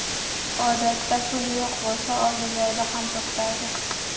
Odatda, pul yo‘q bo‘lsa, oldi-berdi ham to‘xtaydi.